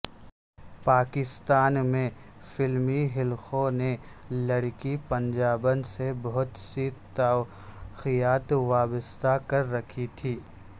پاکستان میں فلمی حلقوں نے لڑکی پنجابن سے بہت سی توقعات وابستہ کر رکھی تھیں